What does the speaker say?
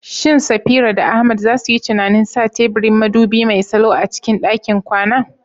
Shin Safira da Ahmad za su yi tunanin sa teburin madubi mai salo a cikin ɗakin kwana?